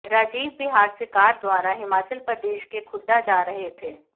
राजीव बिहार से कार द्वारा हिमाचल प्रदेश के खुड्डा जा रहे थे